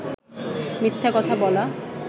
মিথ্যা কথা বলা